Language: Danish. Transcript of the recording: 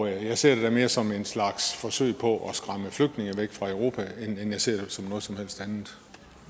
jeg ser det da mere som en slags forsøg på at skræmme flygtninge væk fra europa end jeg ser det som noget som helst andet